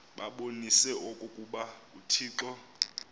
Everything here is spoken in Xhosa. babonise okokuba uthixo